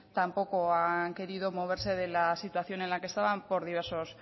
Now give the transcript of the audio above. tampoco han querido moverse de la situación en la que estaban por diversos